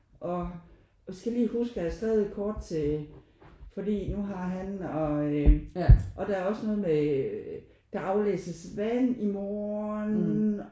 Og og skal lige huske at have skrevet et kort til fordi nu har han og der er også noget med øh der aflæses vand i morgen